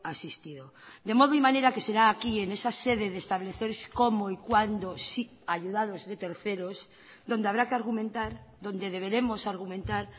asistido de modo y manera que será aquí en esa sede de establecer cómo y cuándo si ayudados de terceros donde habrá que argumentar donde deberemos argumentar